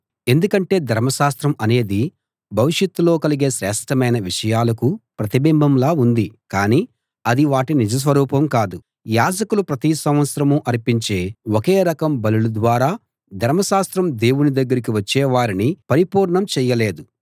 ఎందుకంటే ధర్మశాస్త్రం అనేది భవిష్యత్తులో కలిగే శ్రేష్ఠమైన విషయాలకు ప్రతిబింబంలా ఉంది కానీ అది వాటి నిజ స్వరూపం కాదు యాజకులు ప్రతి సంవత్సరం అర్పించే ఒకే రకం బలుల ద్వారా ధర్మశాస్త్రం దేవుని దగ్గరికి వచ్చే వారిని పరిపూర్ణులను చేయలేదు